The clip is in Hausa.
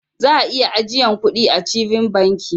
Za'a iya ajiyan kuɗi achieving banki.